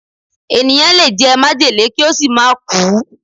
Ènìyàn lè jẹ májèlé kí ó sì má kùú